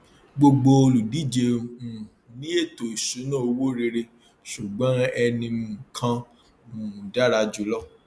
gbogbo olùdíje um ní ètò ìṣúnná owó rere ṣùgbọn ẹni um kan um dára jùlọ